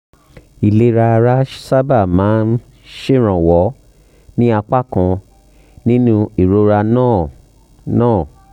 ìlera ara sábà máa ń ṣèrànwọ́ ní apá kan nínú ìrora náà náà